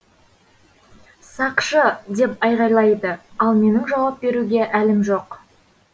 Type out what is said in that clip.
сақшы деп айғайлайды ал менің жауап беруге әлім жоқ